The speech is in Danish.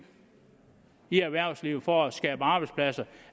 i erhvervslivet for at skabe arbejdspladser